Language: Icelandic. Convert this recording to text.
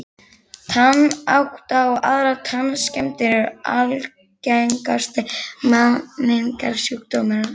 Tannáta og aðrar tannskemmdir eru algengasti menningarsjúkdómurinn á